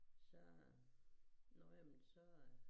Så nå ja men så